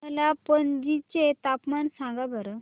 मला पणजी चे तापमान सांगा बरं